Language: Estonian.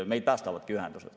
Meid päästavadki ühendused.